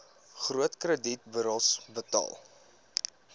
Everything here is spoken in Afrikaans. groot kredietburos betaal